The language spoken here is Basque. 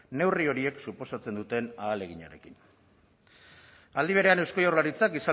neurri horiek suposatzen duten ahaleginarekin aldi berean eusko jaurlaritzak